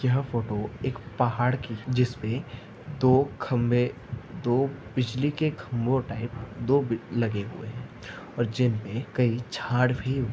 यह फोटो ए पहाड़ की जिसपे दो खंबे दो बिजली के खंबे दो लगे हुए है और जिनमे झाड भी--